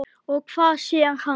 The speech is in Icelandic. Og hvað sér hann?